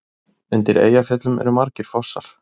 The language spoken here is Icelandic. Undir Eyjafjöllum eru margir fossar.